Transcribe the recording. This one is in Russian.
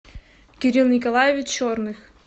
кирилл николаевич черных